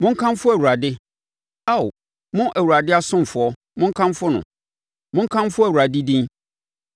Monkamfo Awurade. Ao, mo Awurade asomfoɔ, monkamfo no, monkamfo Awurade din.